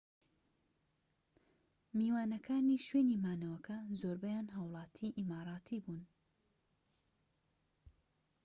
میوانەکانی شوێنی مانەوەکە زۆربەیان هاووڵاتی ئیماراتی بوون‎